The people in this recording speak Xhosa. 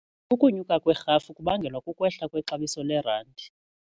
Ukunyuka kwerhafu kubangelwa kukwehla kwexabiso lerandi.